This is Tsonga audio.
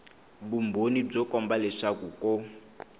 vumbhoni byo komba leswaku ko